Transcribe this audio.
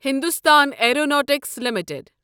Hindustan Aeronautics limited